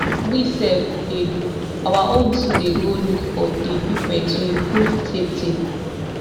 we sef we dey do our own too dey go look for di equipment to improve safety